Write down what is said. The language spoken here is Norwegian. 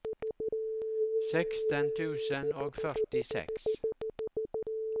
seksten tusen og førtiseks